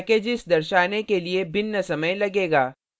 packages दर्शाने के लिए भिन्न समय लगेगा